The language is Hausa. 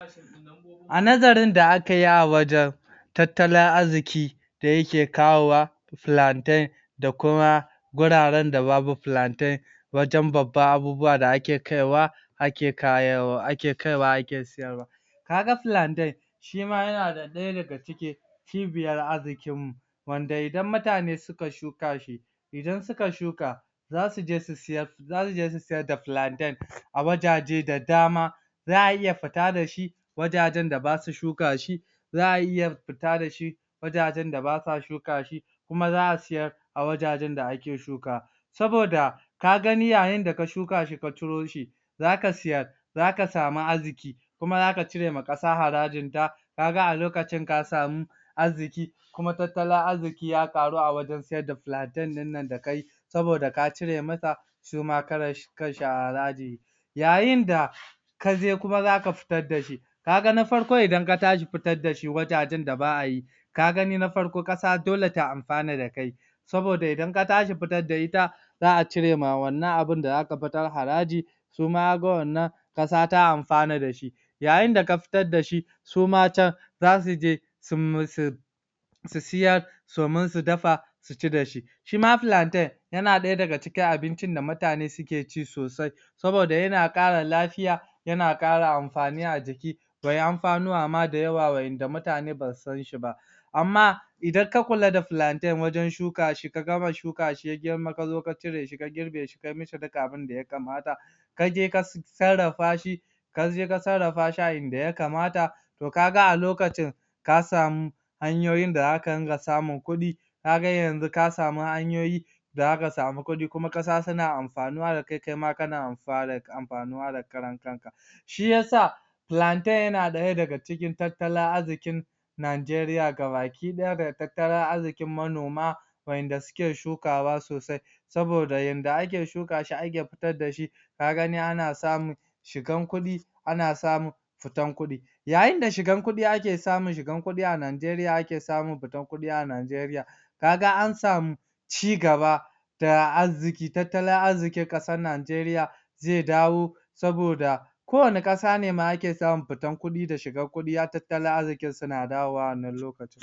A nazarin da aka yi a wajan tattalin azziki da yike kawowa plantain da kuma guraren da babu plantain wajen babban abubuwa da ake kaiwa ake kaiwo ake kaiwa ake siyarwa. Kaga plantain shi ma ya na da ɗaya daga cikin cibiyar arzikin mu, wanda idan mutane suka shuka shi, idan suka shuka za su je su siyar, zasu je su siyar da plantain a wajaje da dama, za'a iya futa da shi wajajen da basu shuka shi, za'a iya futa da shi wajajen da basa shuka shi, kuma za'a siyar a wajajen da ake shukawa. Saboda ka gani yayin da ka shuka shi ka ciro shi, za ka siyar, za ka samu azziki, kuma za ka cire ma ƙasa harajin ta, ka ga a lokacin ka samu azziki kuma tattalin azziki ya ƙaru a wajen saida plantain ɗin nan da kayi, saboda ka cire mata su ma karan kan shi haraji. Yayin da ka je kuma zaka futar da shi, ka ga na farko idan ka tashi futad da shi wajajan da ba'ayi, ka gani na farko ƙasa dole ta anfana da kai, saboda idan ka tashi futar da ita za'a cire ma wannan abun da za ka futar haraji, su ma kaga wannan ƙasa ta anfana da shi. Yayin da ka futar dashi, su ma can za su je su su siyar, somin su dafa su ci da shi. Shi ma plantain yana ɗaya daga cikin abincin da mutane suke ci sosai, saboda yana ƙara lafiya, yana ƙara anfani a jiki kwai anfanuwa ma da yawa wa'inda mutane ba su sanshi ba. Amma idan ka kula da plantain wajen shuka shi, ka gama shuka shi ya girma ka zo ka cire shi, girbe shi, kai mishi duk abinda ya katama, ka je ka sarrafa shi, ka je ka sarrafa shi a inda ya kamata, toh ka ga a lokacin ka samu hanyoyin da zaka ringa samun kuɗi, ka ga yanzu ka samu hanyoyi da zaka samu kuɗi, kuma ƙasa suna anfanuwa da kai, kai ma kana anfana anfanuwa da karan kanka. Shi yasa plantain yana ɗaya daga cikin tattalin azzikin Nanjeriya gabaki ɗaya, da tattalin azzikin manoma waƴanda suke shukawa sosai, saboda yanda ake shuka shi ake futad da shi, ka gani ana samun shigan kuɗi, ana samun futan kuɗi. Yayin da shigan kuɗi ake samun shigan kuɗi a Nanjeriya ake samun futan kuɗi a Nanjeriya. Ka ga an samu ci gaba ta azziki, tattalin azzikin ƙasan Nanjeriya ze dawo, saboda ko wanne ƙasa ne ma ake samun futan kuɗi da shigan kuɗi tattalin azzikin su na dawowa wannan nan lokacin.